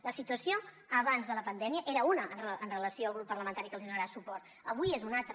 la situació abans de la pandèmia era una amb relació al grup parlamentari que els donarà suport avui n’és una altra